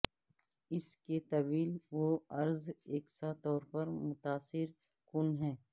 اس کے طول و عرض یکساں طور پر متاثر کن ہیں